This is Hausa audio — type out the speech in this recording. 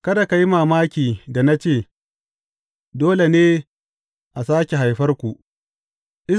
Kada ka yi mamaki da na ce, Dole ne a sāke haifarku.’